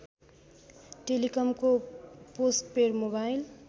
टेलिकमको postpaid mobile